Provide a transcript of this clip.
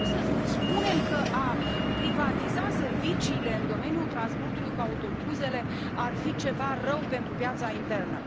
Cum să spunem că a privatiza serviciile în domeniul transportului cu autobuzele ar fi ceva rău pentru piața internă?